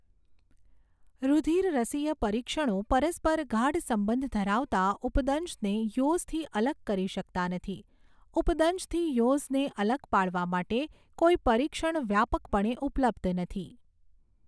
રુધિરરસીય પરીક્ષણો પરસ્પર ગાઢસંબંધ ધરાવતા ઉપદંશને યૉઝથી અલગ કરી શકતા નથી, ઉપદંશથી યૉઝને અલગ પાડવા માટે કોઈ પરીક્ષણ વ્યાપકપણે ઉપલબ્ધ નથી.